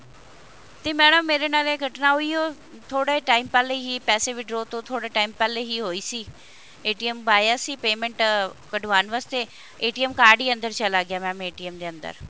ਤੇ madam ਮੇਰੇ ਨਾਲ ਇਹ ਘਟਨਾ ਹੋਈ ਹੈ ਥੋੜੇ time ਪਹਿਲਾਂ ਹੀ ਪੈਸੇ withdraw ਤੋਂ ਥੋੜਾ time ਪਹਿਲਾਂ ਹੀ ਹੋਈ ਸੀ ਪਾਇਆ ਸੀ payment ਕਢਵਾਨ ਵਾਸਤੇ card ਹੀ ਅੰਦਰ ਚਲਾ ਗਿਆ mam ਦੇ ਅੰਦਰ